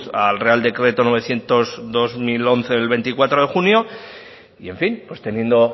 al real decreto novecientos barra dos mil once del veinticuatro de junio y en fin teniendo